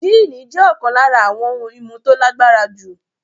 Jíìnì jẹ́ ọ̀kan lára àwọn ohun-ìmu tó lágbára jù.